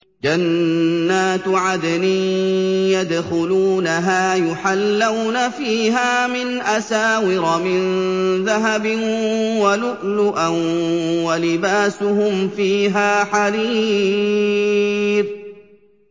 جَنَّاتُ عَدْنٍ يَدْخُلُونَهَا يُحَلَّوْنَ فِيهَا مِنْ أَسَاوِرَ مِن ذَهَبٍ وَلُؤْلُؤًا ۖ وَلِبَاسُهُمْ فِيهَا حَرِيرٌ